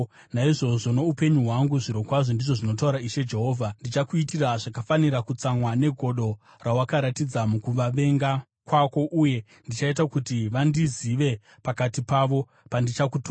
naizvozvo, noupenyu hwangu zvirokwazvo, ndizvo zvinotaura Ishe Jehovha, ndichakuitira zvakafanira kutsamwa negodo rawakaratidza mukuvavenga kwako uye ndichaita kuti vandizive pakati pavo pandichakutonga.